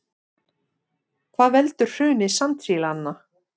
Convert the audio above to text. Hvað veldur hruni sandsílanna